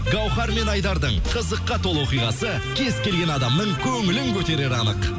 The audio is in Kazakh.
гауһар мен айдардың қызыққа толы оқиғасы кез келген адамның көңілін көтерері анық